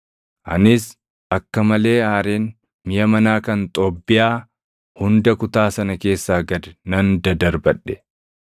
Anis akka malee aareen miʼa manaa kan Xoobbiyaa hunda kutaa sana keessaa gad nan dadarbadhe.